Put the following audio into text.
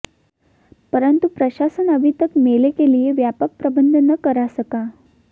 परन्तु प्रशासन अभी तक मेले के लिए व्यापक प्रबन्ध न करा सका